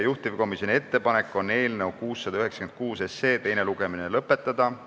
Juhtivkomisjoni ettepanek on eelnõu 696 teine lugemine lõpetada.